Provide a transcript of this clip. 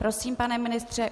Prosím, pane ministře.